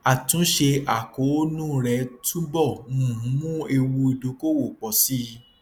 àtúnṣe àkóónú rẹ túbọ um mú ewu ìdókòòwò pọ sí i